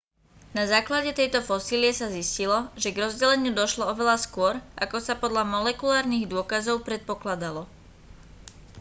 na základe tejto fosílie sa zistilo že k rozdeleniu došlo oveľa skôr ako sa podľa molekulárnych dôkazov predpokladalo